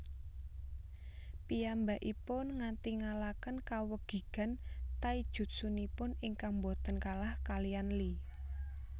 Piyambakipun ngatingalaken kawegigan taijutsunipun ingkang boten kalah kaliyan Lee